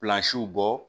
bɔ